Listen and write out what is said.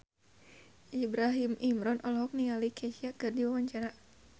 Ibrahim Imran olohok ningali Kesha keur diwawancara